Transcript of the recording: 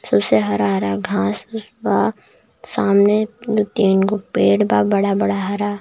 सबसे हरा-हरा घास भुस बा सामने दु तीन गो पेड़ बा बड़ा-बड़ा हरा.